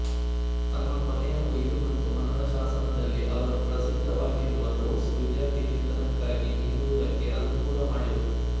ತಮ್ಮ ಕೊನೆಯ ಉಯಿಲು ಮತ್ತು ಮರಣಶಾಸನದಲ್ಲಿಅವರು ಪ್ರಸಿದ್ದವಗಿರುವ ರೋಡ್ಸ್ ವಿದ್ಯಾರ್ಥಿವೇತನಕಾಗಿ ನೀಡುವುದಕ್ಕೆ ಅನುಕೂಲ ಮಾಡಿದರು